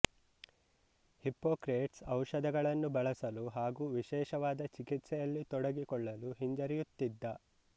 Hippocrates ಔಷಧಗಳನ್ನು ಬಳಸಲು ಹಾಗು ವಿಶೇಷವಾದ ಚಿಕಿತ್ಸೆಯಲ್ಲಿ ತೊಡಗಿಕೊಳ್ಳಲು ಹಿಂಜರಿಯುತ್ತಿದ್ದ